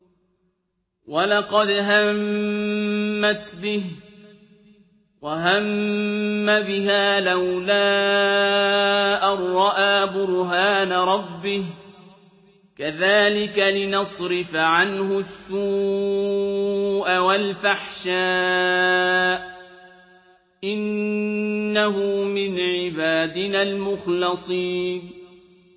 وَلَقَدْ هَمَّتْ بِهِ ۖ وَهَمَّ بِهَا لَوْلَا أَن رَّأَىٰ بُرْهَانَ رَبِّهِ ۚ كَذَٰلِكَ لِنَصْرِفَ عَنْهُ السُّوءَ وَالْفَحْشَاءَ ۚ إِنَّهُ مِنْ عِبَادِنَا الْمُخْلَصِينَ